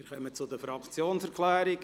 Wir kommen zu den Fraktionserklärungen;